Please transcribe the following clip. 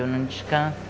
Eu não